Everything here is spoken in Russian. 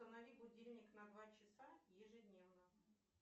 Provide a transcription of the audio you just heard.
установи будильник на два часа ежедневно